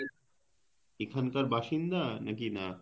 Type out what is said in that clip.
এখান কার বাসিন্দা নাকি না